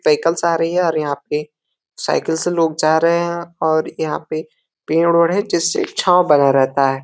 Cycles आ रही है और यहाँ पे साइकिल से लोग जा रहे है और यहाँ पे पेड़ ओड़ है जिससे छाव बना रहता है।